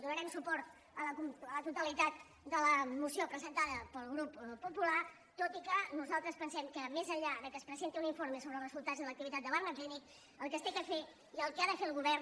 donarem suport a la totalitat de la moció presentada pel grup popular tot i que nosaltres pensem que més enllà que es presenti un informe sobre els resultats de l’activitat de barnaclinic el que s’ha de fer i el que ha de fer el govern